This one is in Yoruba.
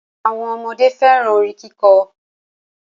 Awọn ọmọde fẹ́ràn orin kíkọ.